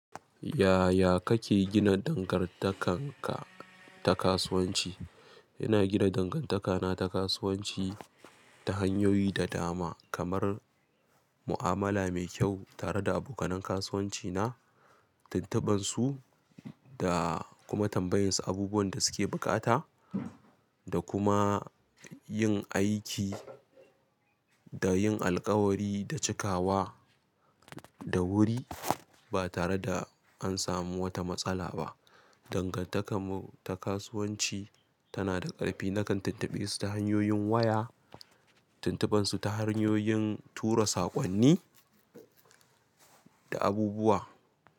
Yaya kake gina dangartakarka ta kasuwanci. Ina gina dangantakana ta kasuwanci ta hanyoyi da dama, kamar mu'amala mai kyau tare da abokan kasuwancina, tuntubinsu da kuma tambayansu abubuwan da suke buƙata, da kuma yin aiki da yin alkawari da cikawa da wuri ba tare da an samu wata matsala ba. Dangantakarmu ta kasuwanci tana da ƙarfi. Nakan tuntubi su ta hanyoyin waya, tuntubansu ta hanyoyin tura saƙonni da abubuwa.